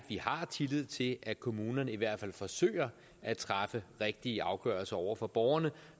vi har tillid til at kommunerne i hvert fald forsøger at træffe rigtige afgørelser over for borgerne